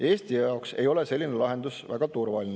Eesti jaoks ei ole selline lahendus väga turvaline.